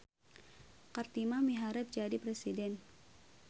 Kartimah miharep jadi presiden